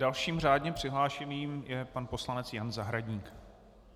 Dalším řádným přihlášeným je pan poslanec Jan Zahradník.